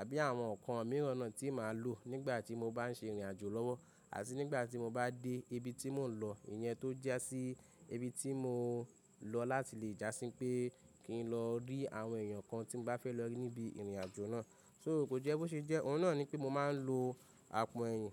àbí àwọn ǹkan mìíràn náà tí màá lò nígbà tí mo bá ń ṣe ìrìnàjò lọ́wọ́. Àti nígbà tí mo bá dé ibi tí mò ń lọ, ìyẹn tó jásí ibi tí mò lọ láti lè jásí pé kí n lọ rí àwọn èèyàn kan tí mo bá fẹ́ lọ rí níbi ìrìnàjò náà. So ko jẹ́ bó ṣe jẹ́, òun náà ni pé mo máa ń lo àpò ẹyìn.